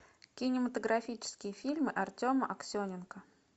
кинематографический фильм артема аксененко